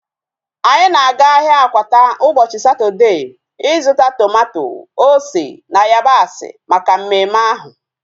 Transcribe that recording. Anyị na-aga ahịa Akwata ụbọchị Satọdee ịzụta tomato, ose na yabasị maka mmemme ahu